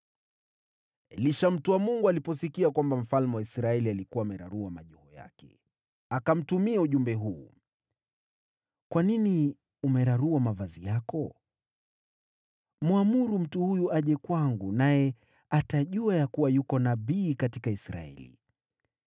Elisha mtu wa Mungu aliposikia kwamba mfalme wa Israeli alikuwa amerarua mavazi yake, akamtumia ujumbe huu: “Kwa nini umerarua mavazi yako? Mwamuru mtu huyo aje kwangu, naye atajua ya kuwa yuko nabii katika Israeli.”